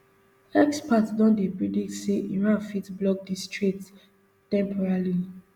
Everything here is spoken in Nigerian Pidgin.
experts don dey predict say iran fit block di strait temporarily